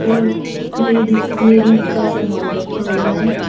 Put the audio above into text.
और ladies ladies का सामान रखा हुआ है।